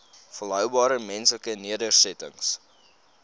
volhoubare menslike nedersettings